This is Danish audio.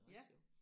ja